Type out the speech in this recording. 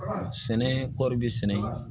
Sɛnɛ kɔɔri bɛ sɛnɛ